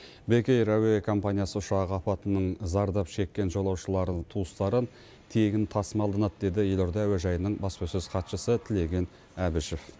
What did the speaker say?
бек эйр әуе компаниясы ұшағы апатының зардап шеккен жолаушыларын туыстарын тегін тасымалданады деді елорда әуежайының баспасөз хатшысы тілеген әбішев